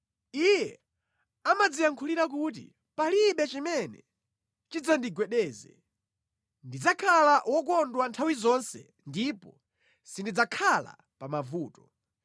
Iye amadziyankhulira kuti, “Palibe chimene chidzandigwedeze. Ndidzakhala wokondwa nthawi zonse ndipo sindidzakhala pa mavuto.”